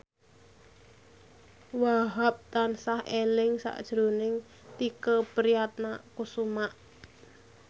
Wahhab tansah eling sakjroning Tike Priatnakusuma